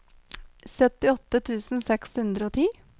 syttiåtte tusen seks hundre og ti